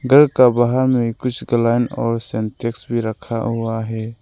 घर का बाहर में कुछ गालन और सेंटेक्स भी रखा हुआ है।